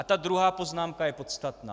A ta druhá poznámka je podstatná.